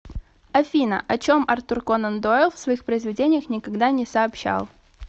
афина о чем артур конан дойл в своих произведениях никогда не сообщал